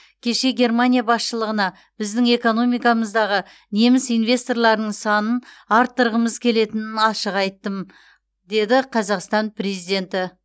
кеше германия басшылығына біздің экономикамыздағы неміс инвесторларының санын арттырғымыз келетінін ашық айттым деді қазақстан президенті